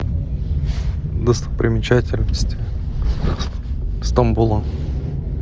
достопримечательности стамбула